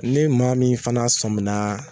Ne maa min fana sɔminna.